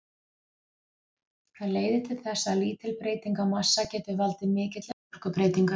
Það leiðir til þess að lítil breyting á massa getur valdið mikilli orkubreytingu.